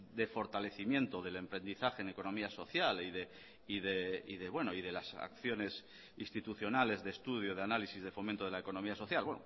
de fortalecimiento del emprendizaje en economía social y de las acciones institucionales de estudio de análisis de fomento de la economía social